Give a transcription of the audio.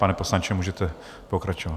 Pane poslanče, můžete pokračovat.